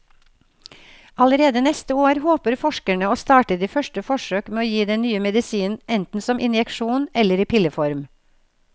Allerede neste år håper forskerne å starte de første forsøk med å gi den nye medisinen enten som injeksjon eller i pilleform.